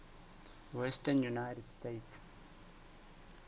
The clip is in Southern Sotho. western united states